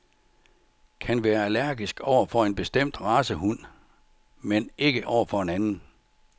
Kan være allergisk over for en bestemt race hund, men ikke over for en anden?